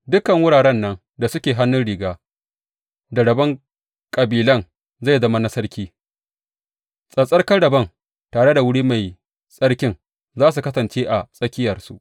Dukan wuraren nan da suke hannun riga da rabon kabilan zai zama na sarki, tsattsarkan rabon tare da wuri mai tsarkin za su kasance a tsakiyarsu.